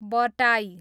बटाई